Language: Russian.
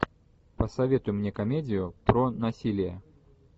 посоветуй мне комедию про насилие